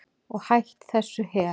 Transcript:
Og hætt þessu hel